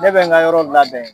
Ne bɛ n ka yɔrɔ labɛn